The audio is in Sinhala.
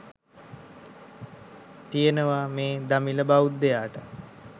තියෙනවා මේ දමිළ බෞද්ධයාට.